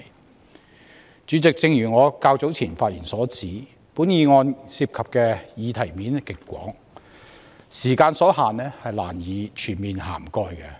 代理主席，正如我較早前發言提到，本議案涉及的議題層面極廣，由於時間所限，難以全面涵蓋各個層面。